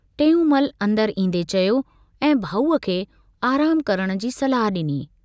टेऊंमल अंदरि ईन्दे चयो ऐं भाउ खे आरामु करण जी सलाह डिनी।